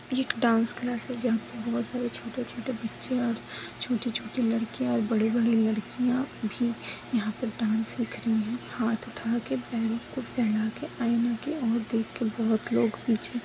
dance class है जहाँ पे बोहत सारे छोटे छोटे बच्चे है और छोटी छोटी लड़किया और बड़ी बड़ी लड़किया भी यहाँ पे डांस सीख रही है हाथ उठा के पैरो को फैला के आईना के और देख के बोहत लोग पीछे --